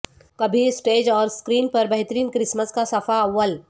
کبھی اسٹیج اور اسکرین پر بہترین کرسمس کا صفحہ اول